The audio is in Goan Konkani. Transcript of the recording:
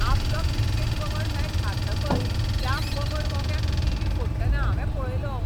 आपलो क्रिकेट पंगड मॅच हारतकच त्या पंगड मोग्याक टिवी फोडटना हांवें पळयलो.